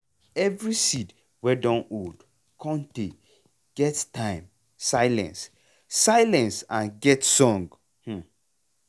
every seed wey dun old cun tay get time get silence silence and get song. um